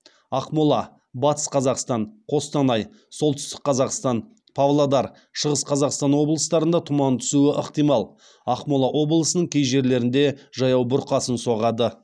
ақмола батыс қазақстан қостанай солтүстік қазақстан павлодар шығыс қазақстан облыстарында тұман түсуі ықтимал ақмола облысының кей жерлерінде жаяу бұрқасын соғады